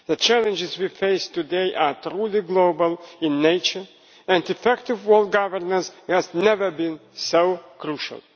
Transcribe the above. The challenges we face today are truly global in nature, and effective world governance has never been so crucial.